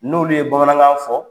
N'olu ye Bamanankan fɔ.